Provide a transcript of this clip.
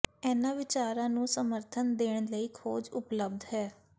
ਇਨ੍ਹਾਂ ਵਿਚਾਰਾਂ ਨੂੰ ਸਮਰਥਨ ਦੇਣ ਲਈ ਖੋਜ ਉਪਲਬਧ ਹੈ